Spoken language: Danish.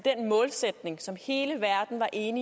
er en